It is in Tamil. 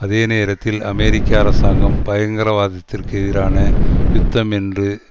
அதே நேரத்தில் அமெரிக்க அரசாங்கம் பயங்கரவாதத்திற்கு எதிரான யுத்தம் என்று